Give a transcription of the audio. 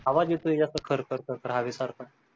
आवाज येतोय जास्त खर खर हवेसारखा